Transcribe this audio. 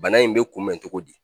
Bana in bɛ kunbɛn cogo di